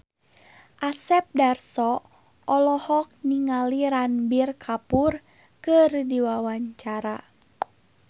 Asep Darso olohok ningali Ranbir Kapoor keur diwawancara